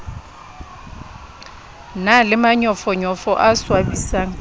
na le manyofonyofo a swabisang